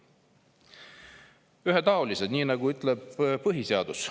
ühetaolised, ütleb põhiseadus.